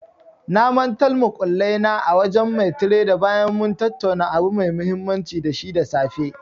Na mantal muƙullai na a wajen mai tredar bayan mun tattauna abu mai mahimmanci da shi da safe.